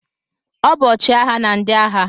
Ọ bụ ọchịagha na ndị agha.